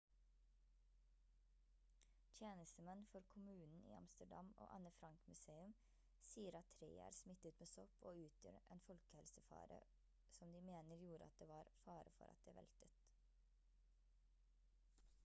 tjenestemenn for kommunen i amsterdam og anne frank museum sier at treet er smittet med sopp og utgjør en folkehelsefare som de mener gjorde at det var fare for at det veltet